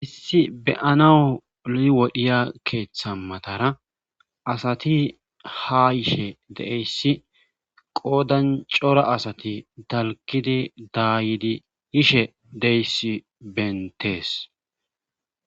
issi beyanao liwodhiya keeththamatara asati ha ishe de7eyssi qoodan cora asati dalkidi daayidi ishe deyssi bentees